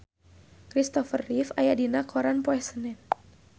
Christopher Reeve aya dina koran poe Senen